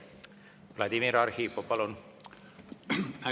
Vladimir Arhipov, palun!